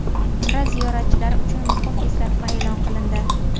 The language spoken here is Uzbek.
Umra ziyoratchilari uchun muhim eslatma e’lon qilindi.